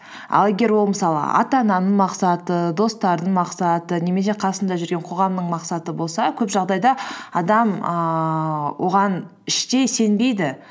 ал егер ол мысалы ата ананың мақсаты достарының мақсаты немесе қасында жүрген қоғамның мақсаты болса көп жағдайда адам ііі оған іштей сенбейді